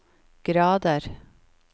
grader